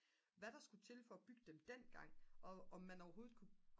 hvad der skulle til for at bygge dem dengang og om man overhovedet kunne